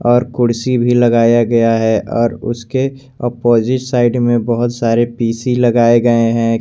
और कुर्सी भी लगाया गया है और उसके अपोजिट साइड में बहोत सारे पी_सी लगाए गए हैं।